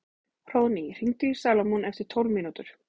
Hróðný, hringdu í Salómon eftir tólf mínútur.